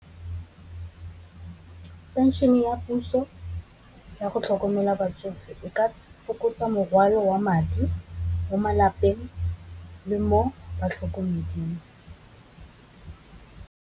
Phenšene ya puso yago tlhokomela batsofe e ka fokotsa morwalo wa madi mo malapeng, le mo batlhokomeding.